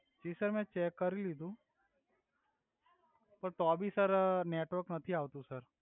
જી sir મે check કરી લિધુ તો ભી સર નેટવર્ક નથી આવતુ સર